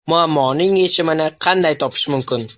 Muammoning yechimini qanday topish mumkin?